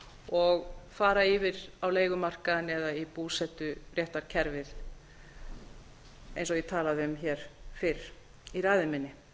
og fara yfir á leigumarkaðinn eða í búseturéttarkerfið eins og ég talaði um hér fyrr í ræðu minni